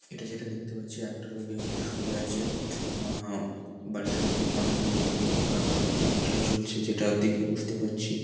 এটা যেটা দেখতে পাচ্ছি একটা লোক এখানে শুয়ে আছে আ-আ বালিশের ওপর মাথা দিয়ে এখানে হয়তো তার কোন চিকিৎসা চলছে যেটা দেখে বুঝতে পারছি।